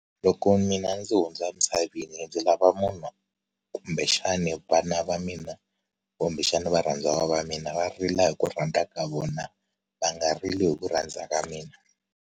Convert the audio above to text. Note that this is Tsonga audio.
Loko mina ndzi hundza emisaveni ndzi lava munhu kumbexani vana va mina kumbexana varhandziwa va mina va rila hi ku rhandza ka vona va nga rili hi ku rhandza ka mina.